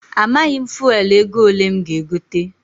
Amaghị m fuelu ego ole m ga- egote.